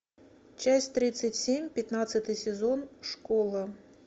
часть тридцать семь пятнадцатый сезон школа